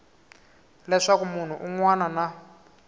leswaku munhu un wana na